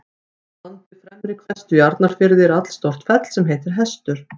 Í landi Fremri-Hvestu í Arnarfirði er allstórt fell sem heitir Hestur.